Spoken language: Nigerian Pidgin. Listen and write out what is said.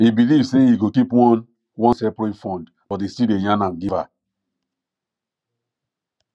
e believe say e go keep one one seperate fund but e still dey yan am give her